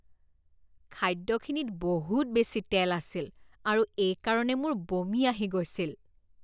খাদ্যখিনিত বহুত বেছি তেল আছিল আৰু এইকাৰণে মোৰ বমি আহি গৈছিল।